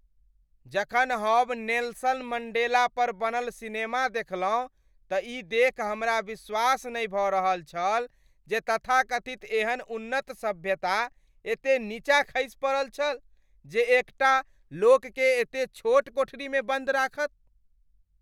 जखन हम नेल्सन मण्डेलापर बनल सिनेमा देखलहुँ त ई देखि हमरा विश्वास नहि भ रहल छल जे तथाकथित एहन उन्नत सभ्यता एते नीचाँ खसि पड़ल छल जे एक टा लोककेँ एते छोट कोठरीमे बन्द राखत ।